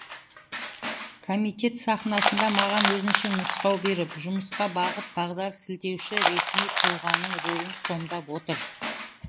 комитет сахнасында маған өзінше нұсқау беріп жұмысқа бағыт бағдар сілтеуші ресми тұлғаның рөлін сомдап отыр